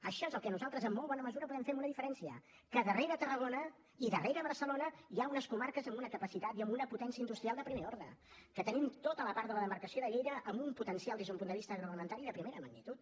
això és el que nosaltres en molt bona mesura podem fer amb una diferència que darrere tarragona i darrere barcelona hi ha unes comarques amb una capacitat i amb una potència industrial de primer ordre que tenim tota la part de la demarcació de lleida amb un potencial des d’un punt de vista agroalimentari de primera magnitud